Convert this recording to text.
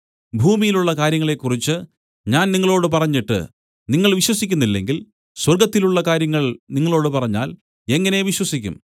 ഭൂമിയിലുള്ള കാര്യങ്ങളെ കുറിച്ച് ഞാൻ നിങ്ങളോടു പറഞ്ഞിട്ട് നിങ്ങൾ വിശ്വസിക്കുന്നില്ലെങ്കിൽ സ്വർഗ്ഗത്തിലുള്ള കാര്യങ്ങൾ നിങ്ങളോടു പറഞ്ഞാൽ എങ്ങനെ വിശ്വസിക്കും